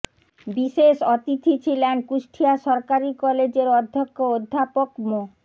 বিশেষ অতিথি ছিলেন কুষ্টিয়া সরকারি কলেজের অধ্যক্ষ অধ্যাপক মো